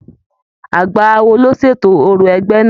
Àgbà awo ló ṣètò òrò ẹgbẹ náà.